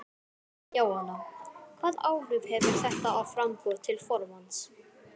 Jóhanna: Hvaða áhrif hefur þetta á framboð til formanns?